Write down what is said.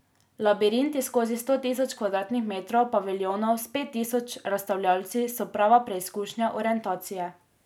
Labirinti skozi sto tisoč kvadratnih metrov paviljonov s pet tisoč razstavljavci so prava preizkušnja orientacije.